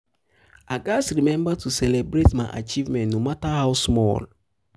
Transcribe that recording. i gats remember to celebrate my achievements no matter how small.